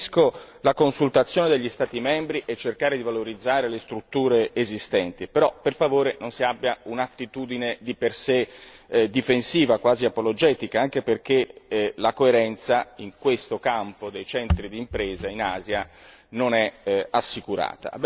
Capisco la consultazione degli Stati membri e cercare di valorizzare le strutture esistenti, però per favore, non si abbia un'attitudine di per sé difensiva, quasi apologetica, anche perché la coerenza in questo campo dei centri di imprese in Asia non è assicurata.